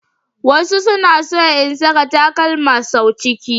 Wasu suna son in saka takalma sau ciki.